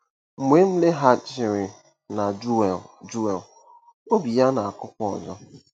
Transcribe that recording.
Mgbe m laghachiri na Joel Joel, obi ya na-akụkwa ọzọ!